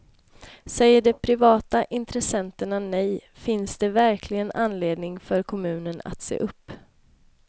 Säger de privata intressenterna nej finns det verkligen anledningen för kommunen att se upp.